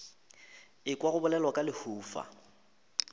ekwa go bolelwa ka lehufa